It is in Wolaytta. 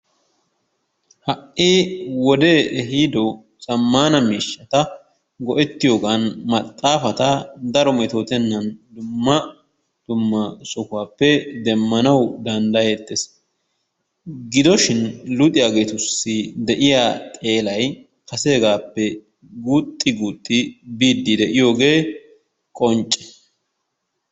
Ha'ii wodee ehido zamanna mishattaa go'ettiyoganni maxafattaa daro metotennani dumma duma sohuwappe demanawu dandayettes. gido shin luxiyaagettus de'iyaa xellaay kassegappe guxi guxi biyogge qonccee.